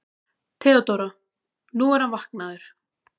THEODÓRA: Nú, hann er vaknaður.